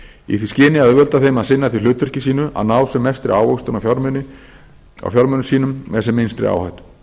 í því skyni að auðvelda þeim að sinna því hlutverki sínu að ná sem mestri ávöxtun á fjármunum sínum með sem minnstri áhættu